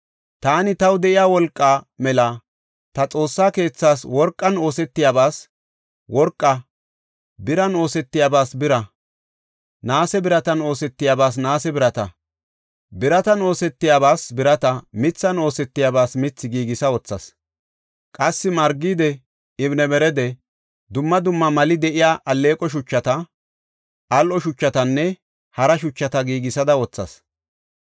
Taani taw de7iya wolqa mela ta Xoossa keethaas worqan oosetiyabas worqaa, biran oosetiyabas bira, naase biratan oosetiyabas, naase birata, biratan oosetiyaba biratanne mithan oosetiyabas mithi giigisa wothas. Qassi margide, ibnebarade, dumma dumma mali de7iya alleeqo shuchata, al7o shuchatanne hara shuchata giigisada wothas.